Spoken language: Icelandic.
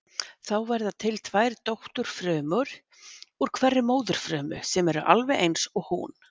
Þá verða til tvær dótturfrumur úr hverri móðurfrumu sem eru alveg eins og hún.